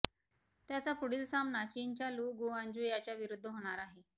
त्याचा पुढील सामना चीनच्या लु गुआंजु याच्याविरुद्ध होणार आहे